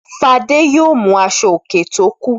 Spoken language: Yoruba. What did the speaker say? Fadé yóò mú aṣọòkè tó kù.